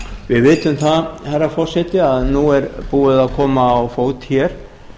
við vitum það herra forseti að nú er búið að koma á fót hér